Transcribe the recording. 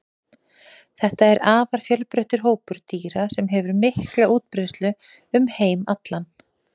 þetta er afar fjölbreyttur hópur dýra sem hefur mikla útbreiðslu um heim allan